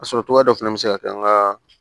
A sɔrɔ cogoya dɔ fana bɛ se ka kɛ an ka